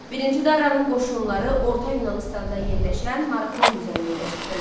Birinci Daranın qoşunları orta Yunanıstanda yerləşən Marafon düzənliyinə çıxdılar.